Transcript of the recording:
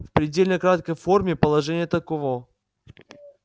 в предельно краткой форме положение таково